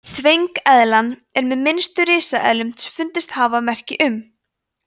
þvengeðlan er með minnstu risaeðlum sem fundist hafa merki um